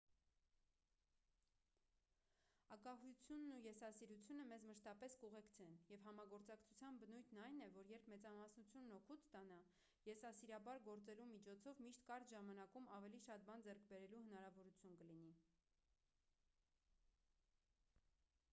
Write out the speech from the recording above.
ագահությունն ու եսասիրությունը մեզ մշտապես կուղեկցեն և համագործակցության բնույթն այն է որ երբ մեծամասնությունն օգուտ ստանա եսասիրաբար գործելու միջոցով միշտ կարճ ժամանակում ավելի շատ բան ձեռք բերելու հնարավորություն կլինի